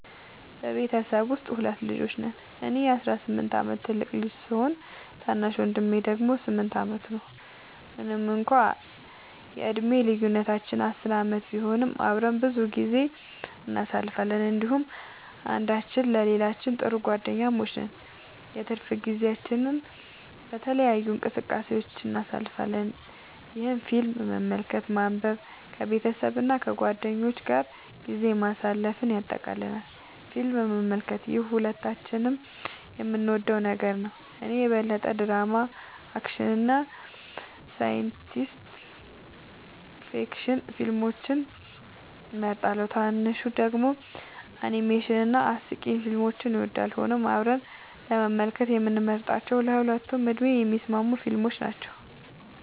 በቤተሰቤ ውስጥ ሁለት ልጆች ነን - እኔ የ18 ዓመት ትልቁ ልጅ ሲሆን፣ ታናሽ ወንድሜ ደግሞ 8 ዓመቱ ነው። ምንም እንኳን የዕድሜ ልዩነታችን 10 ዓመት ቢሆንም፣ አብረን ብዙ ጊዜ እናሳልፋለን እንዲሁም አንዳችን ለሌላችን ጥሩ ጓደኛሞች ነን። የትርፍ ጊዜያችንን በተለያዩ እንቅስቃሴዎች እናሳልፋለን፣ ይህም ፊልም መመልከትን፣ ማንበብን፣ ከቤተሰብ እና ከጓደኞች ጋር ጊዜ ማሳለፍን ያጠቃልላል። ፊልም መመልከት - ይህ ሁለታችንም የምንወደው ነገር ነው። እኔ የበለጠ ድራማ፣ አክሽን እና ሳይንስ ፊክሽን ፊልሞችን እመርጣለሁ፣ ታናሹ ደግሞ አኒሜሽን እና አስቂኝ ፊልሞችን ይወዳል። ሆኖም አብረን ለመመልከት የምንመርጣቸው ለሁለቱም ዕድሜ የሚስማሙ ፊልሞች ናቸው።